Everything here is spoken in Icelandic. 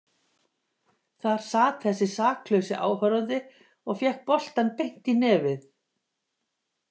Þar sat þessi saklausi áhorfandi og fékk boltann beint í nefið.